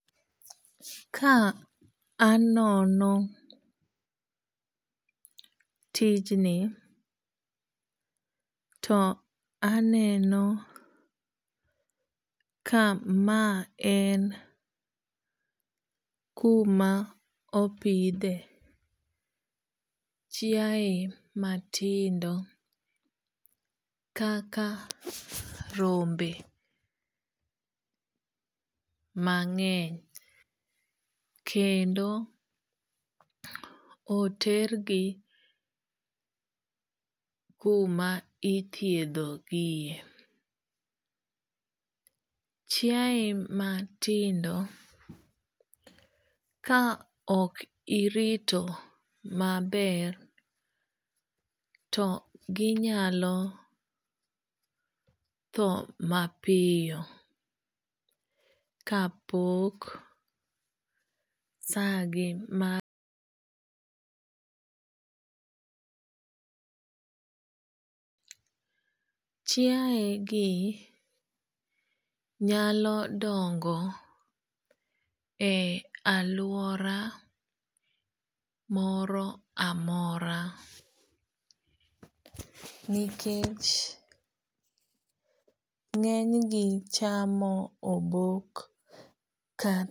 Kaanono tijni toaneno ka maen kuma opidhe chiaye matindo kaka rombe mangeny kendo otergi kuma ithiedho gie. chiaye matindo kaok irito maber to gi nyalo thoo mapiyo ka pok saa gi mar chiaye gi nyalo dongo e alwora moramora nikech ngenygi chamo obok